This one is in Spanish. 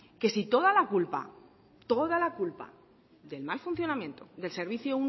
que si toda la culpa toda la culpa del mal funcionamiento del servicio